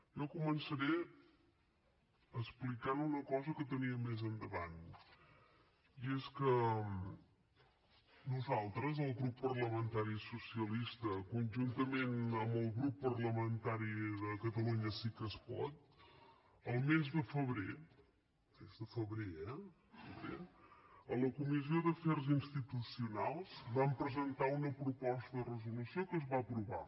jo començaré explicant una cosa que tenia més endavant i és que nosaltres el grup parlamentari socialista conjuntament amb el grup parlamentari de catalunya sí que es pot el mes de febrer el mes de febrer eh febrer a la comissió d’afers institucionals vam presentar una proposta de resolució que es va aprovar